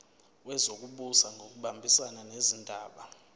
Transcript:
wezokubusa ngokubambisana nezindaba